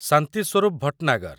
Shanti Swarup Bhatnagar